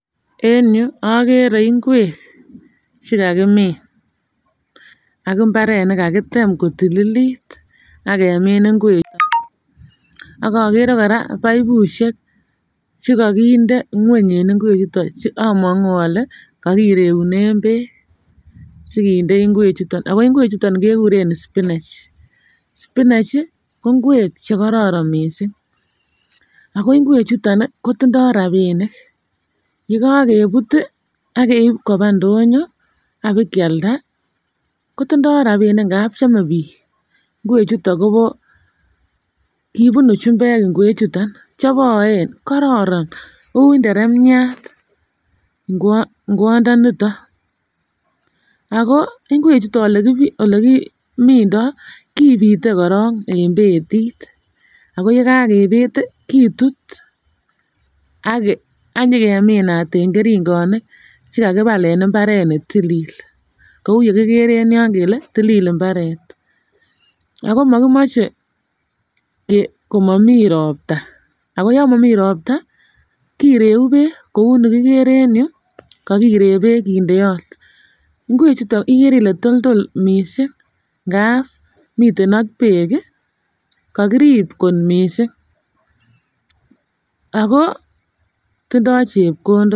En yuu okere ingwek chekakimin aki imbar et nekakitem kotililit ak kemin ingwek ak okere Koraa baibushek chekokinde ngweny en ingwek chuton che omongu ole ko kiregune beek sikindet ingwek chuton ako ingwek chuton kekuren spinach .Spinachi ko ingwek che kororon missing ako ingwek chuton kotindoi rabinik yekokebut akerib koba ndonyo abokolada kotindo rabinik ngapi chome bik. Ngwek chuton Kobo kipunu chumbek ingwek chuton cheboen kororon uteremiat ingwot ingwondoniton. Ingwek chuton olekimindo kipite korong betit ako yekakipit tii kitut anyokeminat en keringonik chakakipal en nekit ako mokimoche ko komomii ropta ako yon momii ropta kireu beek kou yuu kikere en yuu kokirek beek kindeot ngwek chuton nikére kole toldol missing ngap miten ak beek kii kokiriib kot missing ako tindo chepkondok.